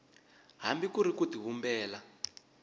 hambi ku ri ku tivumbela